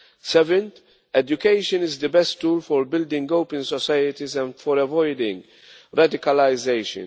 Seventh, education is the best tool for building open societies and for avoiding radicalisation.